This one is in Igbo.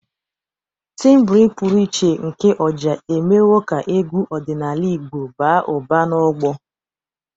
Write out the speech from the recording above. Timbure pụrụ iche nke Oja emewo ka egwu ọdịnala Igbo baa ụba n'ọgbọ.